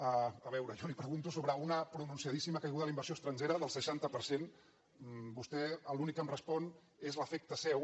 a veure jo li pregunto sobre una pronunciadíssima caiguda de la inversió estrangera del seixanta per cent vostè l’únic que em respon és l’efecte seu